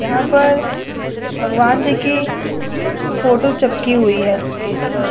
यहाँ पर भगवान जी की फोटो चिपकी हुई है पेज पर--